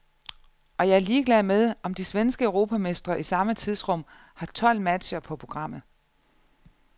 Og jeg er ligeglad med, om de svenske europamestre i samme tidsrum har tolv matcher på programmet.